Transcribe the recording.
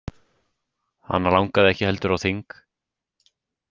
Hana langaði ekki heldur á þing.